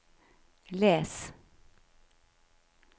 les